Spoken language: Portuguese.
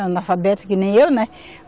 Uma analfabeta que nem eu, né?